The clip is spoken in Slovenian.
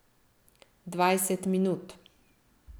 Dvajset minut!